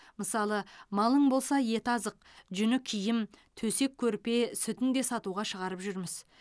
мысалы малың болса еті азық жүні киім төсек көрпе сүтін де сатуға шығарып жүрміз